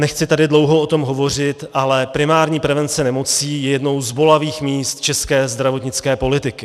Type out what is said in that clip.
Nechci tady dlouho o tom hovořit, ale primární prevence nemocí je jedním z bolavých míst české zdravotnické politiky.